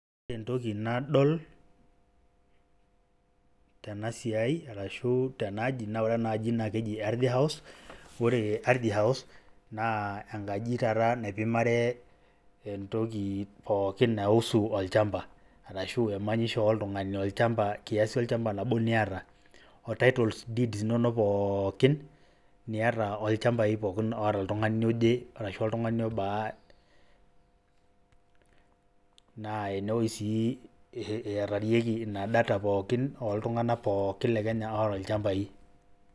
Ore entoki nadol tena siai arashu tena aji naaa ore ena aji naake eji Ardhi house, ore Ardhi house naa enkaji taata naipimare entoki pookin naiusu olchamba arashu emanyisho oltung'ani olchamba kiasi olchamba laba niata o title deeds inonok pookin niata olchambai pookin oata oltung'ani oje arashu oltung'ani obaa naa enewoi sii eetarieki ina data pookin, oltung'anak pookin le Kenya oata ilchambai.